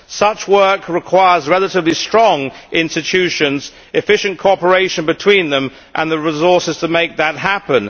Such work requires relatively strong institutions, efficient cooperation between them and the resources to make that happen.